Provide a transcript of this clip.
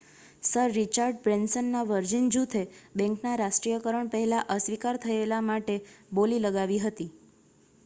sir Richard બ્રેન્સનનાં Virgin જૂથે બેંકના રાષ્ટ્રીયકરણ પહેલા અસ્વીકાર થયેલા માટે બોલી લગાવી હતી